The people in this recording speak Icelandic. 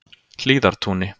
Hlíðartúni